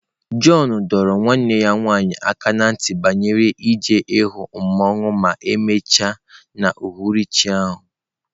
John dọrọ nwanne ya nwanyị aka ná ntị banyere ịga hụ mmawụ ma emechaa n'uhuruchi a.